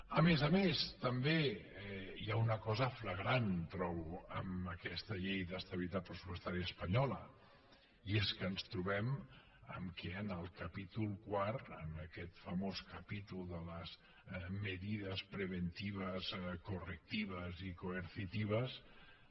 a més a més també hi ha una cosa flagrant trobo en aquesta llei d’estabilitat pressupostària espanyola i és que ens trobem que en el capítol quart en aquest famós capítol de las medidas preventivas correctivas y coercitivas